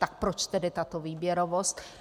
Tak proč tedy tato výběrovost?